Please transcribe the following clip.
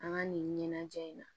An ka nin ɲɛnajɛ in na